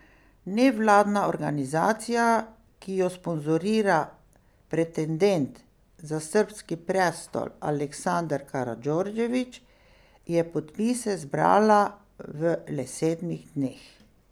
Nevladna organizacija, ki jo sponzorira pretendent za srbski prestol Aleksandar Karadžordžević, je podpise zbrala v le sedmih dneh.